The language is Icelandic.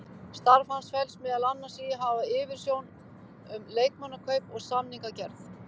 Starf hans felst meðal annars í að hafa yfirsjón um leikmannakaup og samningagerð.